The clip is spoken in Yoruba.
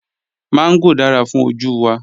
Mángò dára fún ojú wa